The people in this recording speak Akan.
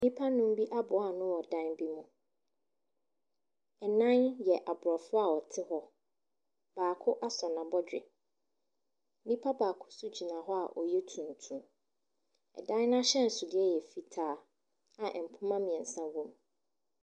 Nnipa nnum bi aboa anoo wɔ dan bi mu Ɛnan yɛ aborɔfo a wɔte hɔ. Baako asɔ n'abɔdwe. Nnipa baako so gyina hɔ a ɔyɛ tuntum. Ɛdan n'ahyɛnsodeɛ ɛyɛ fitaa a ɛmpoma mmiɛnsa wɔm.